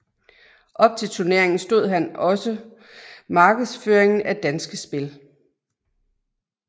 Op til turneringen stod han også markedsføringen af Danske Spil